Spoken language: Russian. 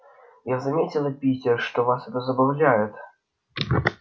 я заметила питер что вас это забавляет